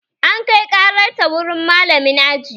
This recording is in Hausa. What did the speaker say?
An kai ƙarar ta wurin malamin aji